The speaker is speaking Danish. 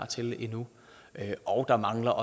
til endnu og der mangler